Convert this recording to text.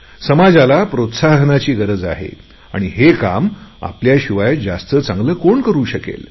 हािविचार बदलण्याची आवश्यकता आहे आणि हे काम आपल्याशिवाय जास्त चांगले कोण करु शकेल